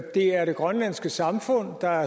er det grønlandske samfund der